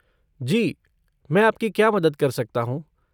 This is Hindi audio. जी, मैं आपकी क्या मदद कर सकता हूँ?